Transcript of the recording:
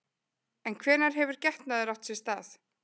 En hvenær hefur getnaður átt sér stað?